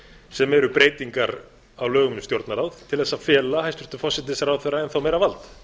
sem eru breytingar á lögum um stjórnarráð til þess að fela hæstvirtum forsætisráðherra enn þá meira vald